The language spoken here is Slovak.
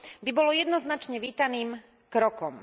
by bolo jednoznačne vítaným krokom.